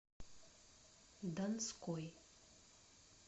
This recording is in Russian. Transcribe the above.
донской